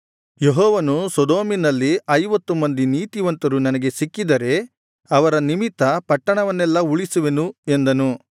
ಯೆಹೋವನು ಸೊದೋಮನಲ್ಲಿ ಐವತ್ತು ಮಂದಿ ನೀತಿವಂತರು ನನಗೆ ಸಿಕ್ಕಿದರೆ ಅವರ ನಿಮಿತ್ತ ಪಟ್ಟಣವನ್ನೆಲ್ಲಾ ಉಳಿಸುವೆನು ಎಂದನು